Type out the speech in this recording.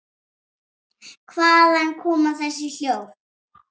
Hvaðan koma þessi hljóð?